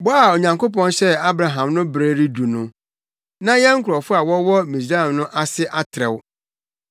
“Bɔ a Onyankopɔn hyɛɛ Abraham no bere redu no, na yɛn nkurɔfo a wɔwɔ Misraim no ase atrɛw.